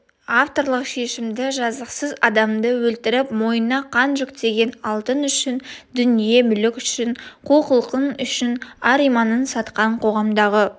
авторлық шешімді жазықсыз адамды өлтіріп мойынына қан жүктеген алтын үшін дүние-мүлік үшін қу құлқын үшін ар-иманын сатқан қоғамдағы